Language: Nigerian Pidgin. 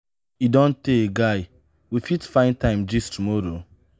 e don tey guy we fit find time gist tomorrow?